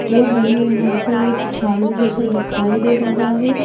और हमें यहाँ पर एक झाड़ू जैसा दिखाई दे रहा है।